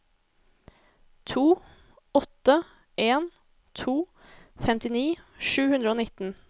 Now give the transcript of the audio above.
to åtte en to femtini sju hundre og nitten